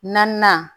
Naaninan